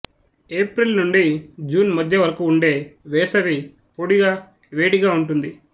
April నుండి June మధ్య వరకు ఉండే వేసవి పొడిగా వేడిగా ఉంటుంది